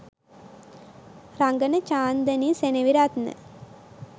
රඟන Chandani Seneviratne